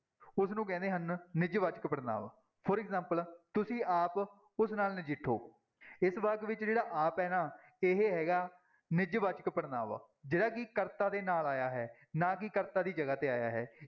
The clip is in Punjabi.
ਉਸਨੂੰ ਕਹਿੰਦੇ ਹਨ, ਨਿੱਜਵਾਚਕ ਪੜ੍ਹਨਾਂਵ for example ਤੁਸੀਂ ਆਪ ਉਸ ਨਾਲ ਨਜਿੱਠੋ, ਇਸ ਵਾਕ ਵਿੱਚ ਜਿਹੜਾ ਆਪ ਹੈ ਨਾ ਇਹ ਹੈਗਾ ਨਿੱਜਵਾਚਕ ਪੜ੍ਹਨਾਂਵ, ਜਿਹੜਾ ਕਿ ਕਰਤਾ ਦੇ ਨਾਲ ਆਇਆ ਹੈ ਨਾ ਕਿ ਕਰਤਾ ਦੀ ਜਗ੍ਹਾ ਤੇ ਆਇਆ ਹੈ।